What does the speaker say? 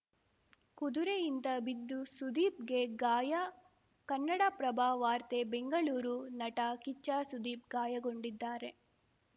ಕುದುರೆಯಿಂದ ಬಿದ್ದು ಸುದೀಪ್‌ಗೆ ಗಾಯ ಕನ್ನಡಪ್ರಭ ವಾರ್ತೆ ಬೆಂಗಳೂರು ನಟ ಕಿಚ್ಚ ಸುದೀಪ್‌ ಗಾಯಗೊಂಡಿದ್ದಾರೆ